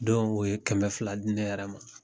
Don o ye kɛmɛ fila di nɛ yɛrɛ ma.